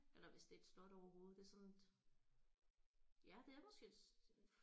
Eller hvis det er et slot overhovedet det er sådan et ja det er måske et